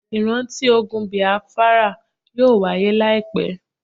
Ìránti ogun Bìáfárà yóò wahyé láìpẹ́.